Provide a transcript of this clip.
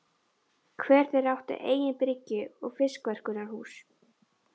Hver þeirra átti eigin bryggju og fiskverkunarhús.